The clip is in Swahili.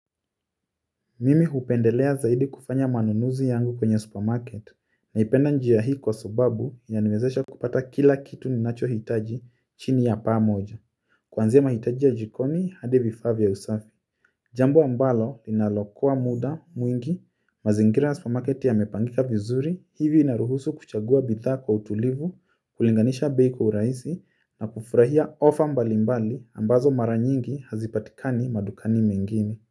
Mimi hupendelea zaidi kufanya manunuzi yangu kwenye supermarket naipenda njia hii kwa sababu inaniwezesha kupata kila kitu ninacho hitaji chini ya paa moja. Kwanzia ya mahitaji ya jikoni hadi vifaa vya usafi. Jambo ambalo linalokua muda mwingi mazingira ya supermarket ya mepangika vizuri hivi inaruhusu kuchagua bidhaa kwa utulivu kulinganisha bei kwa urahisi na kufurahia ofa mbali mbali ambazo mara nyingi hazipatikani madukani mengine.